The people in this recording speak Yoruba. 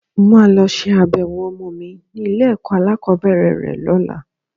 Mo máa lọ ṣe abẹ̀wò ọmọ mi ní ilé-ẹ̀kọ́ alákọ̀ọ́bẹ̀rẹ̀ rẹ lọ́la.